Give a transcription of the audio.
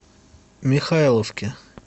михайловке